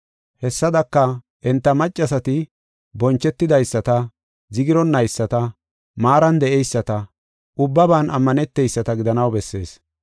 Hessadaka, enta maccasati bonchetidaysata, zigironnayisata, maaran de7eyisata, ubbaban ammaneteyisata gidanaw bessees.